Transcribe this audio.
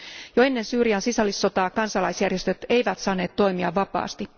Jo ennen Syyrian sisällissotaa kansalaisjärjestöt eivät saaneet toimia vapaasti.